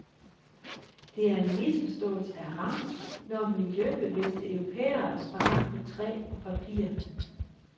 Det er en misforståelse af rang, når miljøbevidste europæere sparer på træ og papir.